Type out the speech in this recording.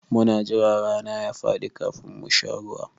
Muna jira rana ya faɗi kafin mu sha ruwa.